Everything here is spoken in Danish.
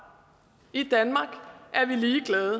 i danmark er vi ligeglade